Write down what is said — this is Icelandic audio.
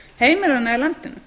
heimilanna í landinu